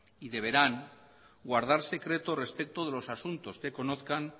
y deberán guardar secreto respeto de los asuntos que conozcan